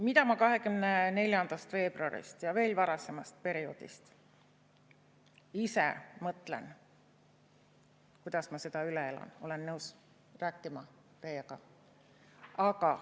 Mida ma 24. veebruarist ja veel varasemast perioodist ise mõtlen, kuidas ma seda üle elan, sellest olen nõus teiega rääkima.